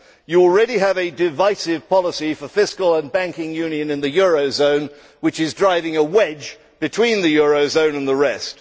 You already have a divisive policy for fiscal and banking union in the eurozone which is driving a wedge between the eurozone and the rest.